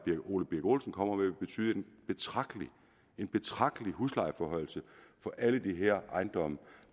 ole birk olesen kommer med ville betyde en betragtelig en betragtelig huslejeforhøjelse for alle de her ejendomme